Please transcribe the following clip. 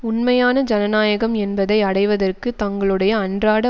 உண்மையான ஜனநாயகம் என்பதை அடைவதற்கு தங்களுடைய அன்றாட